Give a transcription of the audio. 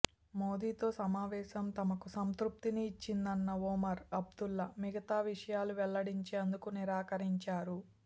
మోదీతో సమావేశం తమకు సంతృప్తిని ఇచ్చిందన్న ఒమర్ అబ్దుల్లా మిగతా విషయాలు వెల్లడించేందుకు నిరాకరించారు